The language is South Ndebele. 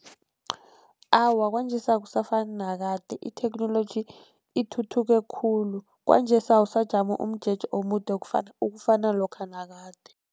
Awa, kwanjesi akusafani nakade itheknoloji ithuthuke khulu, kwanjesi awusajami umjeje omude okufana, ukufana lokha nakade.